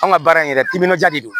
An ka baara in yɛrɛ timinandiya de don